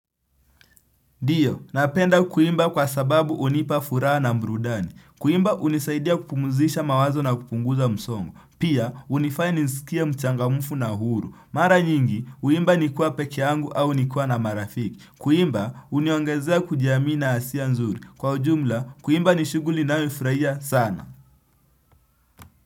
Ndio, napenda kuimba kwa sababu unipa furaha na burudani. Kuimba unisaidia kupumuzisha mawazo na kupunguza msongo. Pia, unifanya nisikia mchangamufu na huru. Mara nyingi, uimba nikuea peke yangu au nikiwa na marafiki. Kuimba, uniongezea kujiamina asia nzuri. Kwa ujumla, kuimba nishuguli ninayoifurahia sana.